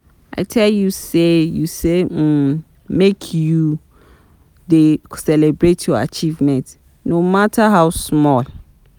I tell you sey you say um make you dey celebrate your achievements, no mata how small.